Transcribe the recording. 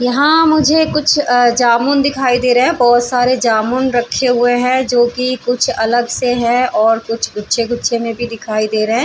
यहाँ मुझे कुछ अ जामुन दिखाई दे रहे है बहुत सारे जामुन रखे हुए है जो कि कुछ अलग से है और कुछ गुछे-गुछे में भी दिखाई दे रहे है।